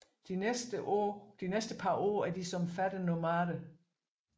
De næste par år de som fattige nomader